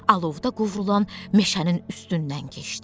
Alovda qovrulan meşənin üstündən keçdi.